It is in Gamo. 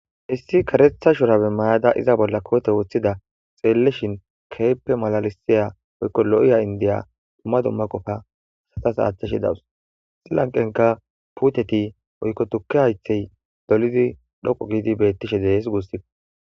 issi karetha shurabe mayada iza bolla koote woththida xeelleshin keeppe malalisiya oykko lo7iya indiya dumma dumma qofa satas aachchashe dawus xilanqenka puuteti oykko tukke aythey dolidi dhoqo giidi beettishe dees guussife